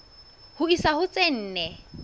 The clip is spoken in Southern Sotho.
ho isa ho tse nne